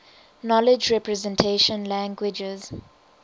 knowledge representation languages